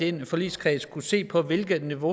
i den forligskreds skulle se på hvilket niveau